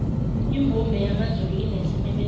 imbube yamazulu inesimemezelo